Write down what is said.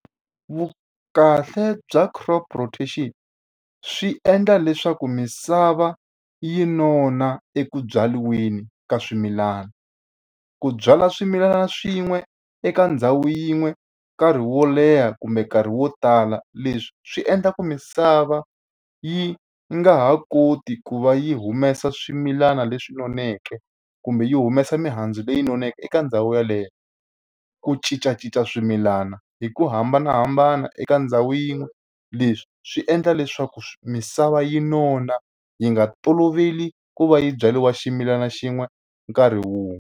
Vukahle bya crop rotation swi endla leswaku misava yi nona eku byariweni ka swimilana. Ku byala swimilana swin'we eka ndhawu yin'we nkarhi wo leha kumbe nkarhi wo tala, leswi swi endla ku misava yi nga ha koti ku va yi humesa swimilana leswi noneke, kumbe yi humesa mihandzu leyi noneke eka ndhawu yeleyo. Ku cincacinca swimilana hi ku hambanahambana eka ndhawu yin'we, leswi swi endla leswaku misava yi nona. Yi nga toloveli ku va yi byariwa ximilana xin'we nkarhi wun'we.